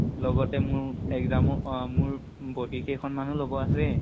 লগতে মোৰ exam উ অহ মোৰ বহি কেইখন মানো লব আছে।